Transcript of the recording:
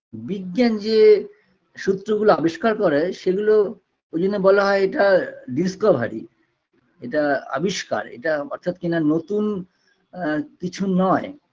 বিজ্ঞান যে সূত্রগুলো আবিষ্কার করা হয় সেগুলো ঐ জন্য বলা হয় এটা discovery এটা আবিষ্কার এটা অর্থাৎ কিনা নতুন আ কিছু নয়